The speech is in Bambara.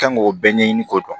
Kan k'o bɛɛ ɲɛɲini k'o dɔn